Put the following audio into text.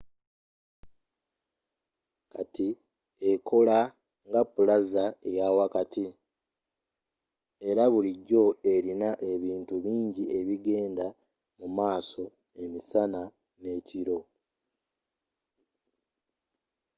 kati ekola nga plaza eyawakati era bulijjo erina ebintu bingi ebigenda mumaaso emisana n'ekiro